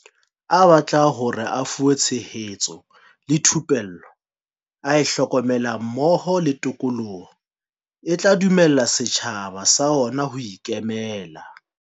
A batla hore a fuwe tshe hetso le thupello a e hlokang mmoho le tikoloho e tla dumella setjhaba sa ona ho ikemela.